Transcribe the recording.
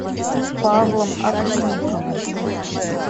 павлом овчинниковым